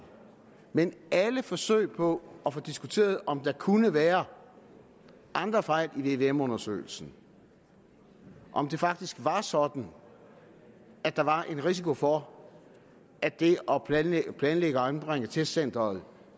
men alle forsøg på at få diskuteret om der kunne være andre fejl i vvm undersøgelsen om det faktisk var sådan at der var en risiko for at det at planlægge planlægge og anbringe testcenteret i